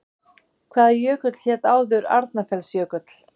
Hvaða jökull hét áður Arnarfellsjökull?